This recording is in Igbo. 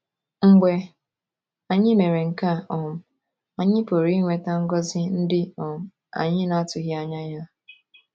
Mgbe anyị mere nke a um, anyị pụrụ inweta ngọzi ndị um anyị na - atụghị anya ha.